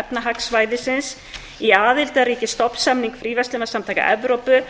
efnahagssvæðisins í aðildarríki stofnsamnings fríverslunarsamtaka evrópu